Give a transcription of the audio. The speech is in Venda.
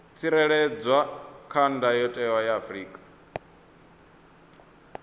tsireledzwa kha ndayotewa ya afrika